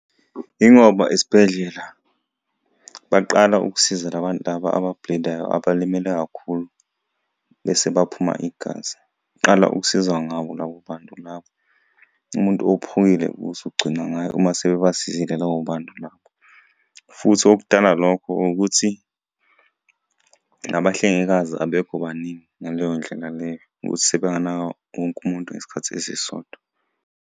Yingoba esibhedlela baqala ukusiza la bantu laba aba-bleed-ayo abalimele kakhulu bese baphuma igazi. Qala ukusiza ngabo labo bantu labo. Umuntu ophukile kuzogcinwa ngabo uma sebabasizile labo bantu labo, futhi okudala lokho ukuthi, nabahlengikazi abekho baningi ngaleyo ndlela leyo ukuthi sebenganaka wonke umuntu ngesikhathi esisodwa.